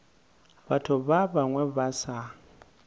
batho ba bangwe ba sa